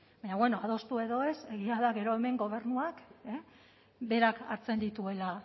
baina bueno adostu edo ez egia da gero hemen gobernuak berak hartzen dituela